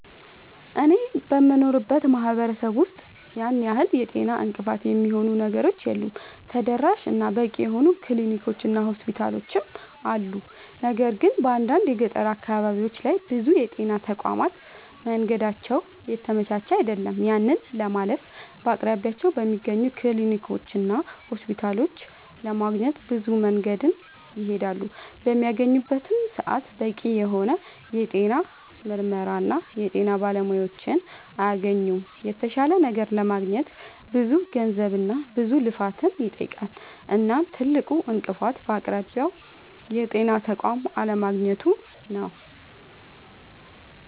አኔ በምኖርበት ማህበረሰብ ውስጥ ያን ያህል የጤና እንቅፋት የሚሆኑ ነገሮች የሉም ተደራሽ እና በቂ የሆኑ ክሊኒኮች እና ሆስፒታሎችም አሉ። ነገር ግን በአንዳንድ የገጠር አካባቢዎች ላይ ብዙ የጤና ተቋማት መንገዳቸው የተመቻቸ አይደለም። ያንን ለማለፍ በአቅራቢያቸው በሚገኙ ክሊኒኮችና ሆስፒታሎች ለማግኘት ብዙ መንገድን ይሄዳሉ። በሚያገኙበትም ሰዓት በቂ የሆነ የጤና ምርመራና የጤና ባለሙያዎችን አያገኙምና የተሻለ ነገር ለማግኘት ብዙ ገንዘብና ብዙ ልፋትን ይጠይቃል። እናም ትልቁ እንቅፋት በአቅራቢያው የጤና ተቋም አለማግኘቱ ነዉ